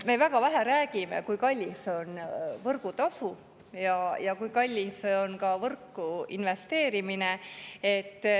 Me väga vähe räägime, kui suur on võrgutasu ja kui kallis on võrku investeerimine.